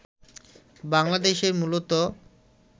বাংলাদেশে মূলত